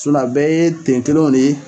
Sinɔ a bɛɛ ye ten tuluw le ye